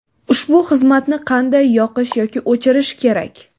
Ushbu xizmatni qanday yoqish yoki o‘chirish kerak?.